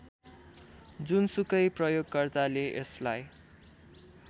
जुनसुकै प्रयोगकर्ताले यसलाई